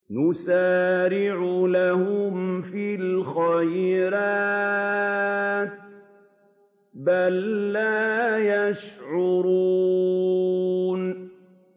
نُسَارِعُ لَهُمْ فِي الْخَيْرَاتِ ۚ بَل لَّا يَشْعُرُونَ